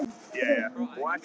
Goð og garpar